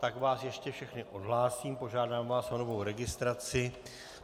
Tak vás ještě všechny odhlásím, požádám vás o novou registraci.